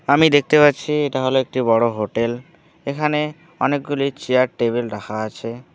আমি দেখতে পাচ্ছি এটা হল একটি বড় হোটেল এখানে অনেকগুলি চেয়ার টেবিল রাখা আছে।